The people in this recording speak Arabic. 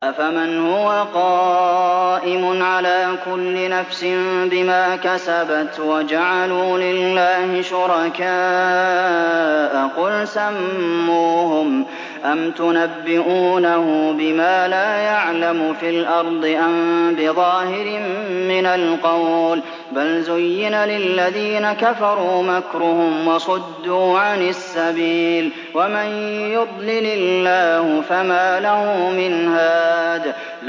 أَفَمَنْ هُوَ قَائِمٌ عَلَىٰ كُلِّ نَفْسٍ بِمَا كَسَبَتْ ۗ وَجَعَلُوا لِلَّهِ شُرَكَاءَ قُلْ سَمُّوهُمْ ۚ أَمْ تُنَبِّئُونَهُ بِمَا لَا يَعْلَمُ فِي الْأَرْضِ أَم بِظَاهِرٍ مِّنَ الْقَوْلِ ۗ بَلْ زُيِّنَ لِلَّذِينَ كَفَرُوا مَكْرُهُمْ وَصُدُّوا عَنِ السَّبِيلِ ۗ وَمَن يُضْلِلِ اللَّهُ فَمَا لَهُ مِنْ هَادٍ